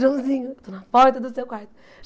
Joãozinho, estou na porta do seu quarto.